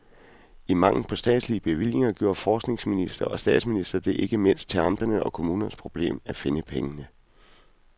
I mangel på statslige bevillinger gjorde forskningsminister og statsminister det ikke mindst til amternes og kommunernes problem at finde pengene.